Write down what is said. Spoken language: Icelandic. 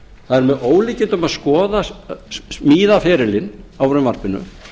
það er með ólíkindum að skoða smíðaferilinn á frumvarpinu